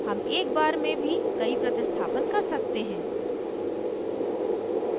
हम एक बार में भी कई प्रतिस्थापन कर सकते हैं